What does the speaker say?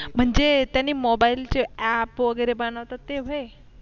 म्हणजे त्यांनी mobile चे app वगैरे बनवतात ते व्हय